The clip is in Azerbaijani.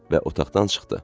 Və otaqdan çıxdı.